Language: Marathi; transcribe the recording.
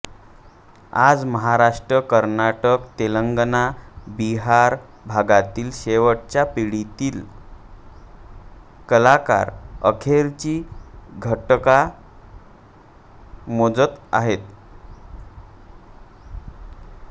आज महाराष्ट्र कर्नाटक तेलंगणा बिहार भागातील शेवटच्या पिढीतील कलाकार अखेरची घटका मोजत आहेत